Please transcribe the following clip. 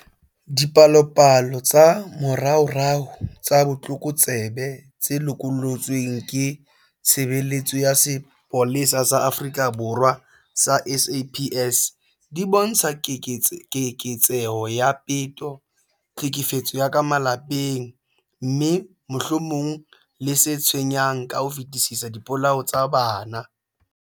Dipalopalo tsa moraorao tsa botlokotsebe tse lokollotsweng ke Tshebeletso ya Sepolesa sa Afrika Borwa sa SAPS, di bontsha keketseho ya peto, tlhekefetso ya ka malapeng, mme, mohlomong le se tshwenyang ka ho fetisisa, dipolao tsa bana.